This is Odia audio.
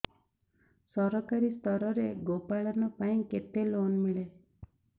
ସରକାରୀ ସ୍ତରରେ ଗୋ ପାଳନ ପାଇଁ କେତେ ଲୋନ୍ ମିଳେ